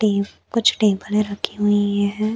टीव कुछ टेबले रखी हुई है।